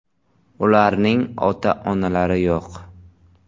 Ularning ota-onalari yo‘q.